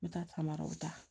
N bɛ taamaraw ta